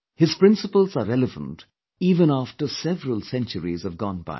His principles are relevant even after several centuries have gone by